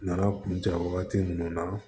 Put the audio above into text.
Nana kun ja wagati minnu na